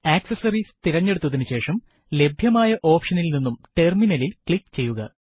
accessories തിരഞ്ഞെടുത്തതിനുശേഷം ലഭ്യമായ ഓപ്ഷനിൽ നിന്നും ടെർമിനലിൽ ക്ലിക്ക് ചെയ്യുക